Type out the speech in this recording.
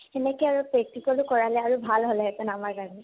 তেনেকে আৰু practical ও কৰালে আৰু ভাল হল হেতেন আমাৰ কাৰণে।